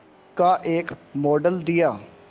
का एक मॉडल दिया